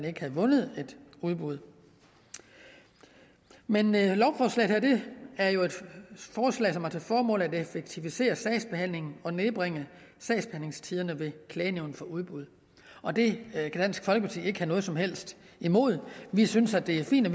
ikke have vundet et udbud men det her lovforslag er jo et forslag som har til formål at effektivisere sagsbehandlingen og nedbringe sagsbehandlingstiderne ved klagenævnet for udbud og det kan dansk folkeparti ikke have noget som helst imod vi synes at det er fint at